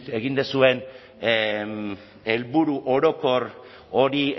egin duzuen helburu orokor hori